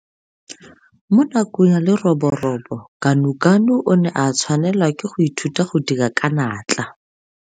Mo nakong ya leroborobo Ganuganu o ne a tshwanela ke go ithuta go dira ka natla.